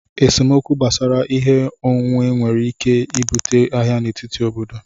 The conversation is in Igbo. Esemokwu gbasara ihe onwunwe nwere ike ibute agha n'etiti obodo